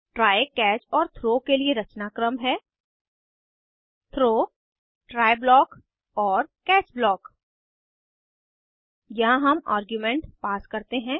try catch और throw के लिए रचनाक्रम है Throw ट्राय ब्लॉक और कैच ब्लॉक यहाँ हम आर्ग्यूमेंट पास करते हैं